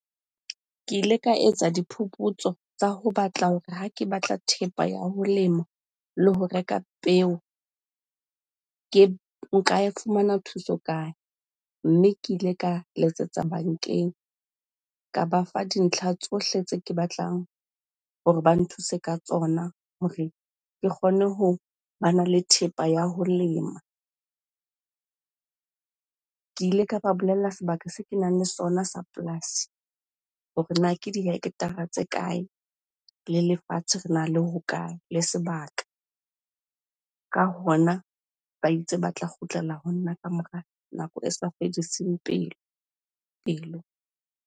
Ke ile ka etsa diphuputso tsa ho batla hore ha ke batla thepa ya ho lema le ho reka peo ke nka e fumana thuso kae? Mme ke ile ka letsetsa bankeng, ka ba fa dintlha tsohle tse ke batlang hore ba nthuse ka tsona hore ke kgone ho bana le thepa ya ho lema. Ke ile ka ba bolella sebaka se kenang le sona sa polasi hore na ke dihekthara tse kae? Le lefatshe rena le hokae le sebaka? Ka hona ba itse ba tla kgutlela ho nna ka mora nako e sa fediseng pelo.